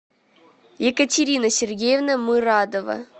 екатерина сергеевна мырадова